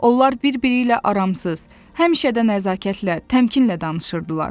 Onlar bir-biri ilə aramsız, həmişə də nəzakətlə, təmkinlə danışırdılar.